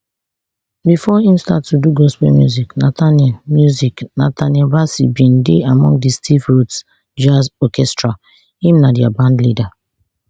bifor im start to do gospel music nathaniel music nathaniel bassey bin dey among di steve rhodes jazz orchestra im na dia bandleader